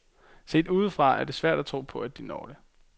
Set udefra er det svært at tro på, at de når det.